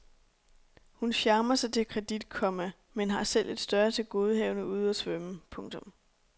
Hun charmer sig til kredit, komma men har selv et større tilgodehavende ude og svømme. punktum